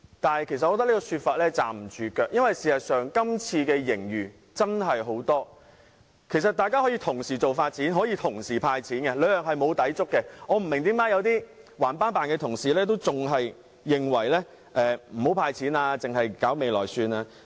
然而，我認為這種說法是站不住腳的，因為事實上本年度的盈餘真的很多，政府大可以同時發展和"派錢"，兩者並無抵觸，我不明白為甚麼有些固執的同事仍然認為不應該"派錢"，只應用作未來發展。